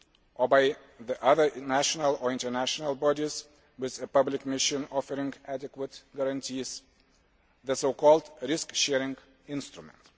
or by other national or international bodies with a public mission offering adequate guarantees the so called risk sharing instrument'.